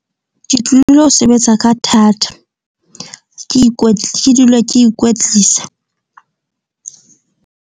Ke tlilo sebetsa ka thata, ke ke dula ke ikwetlisa .